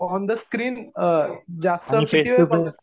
on the screen जास्त कितीवेळ बघत